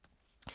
TV 2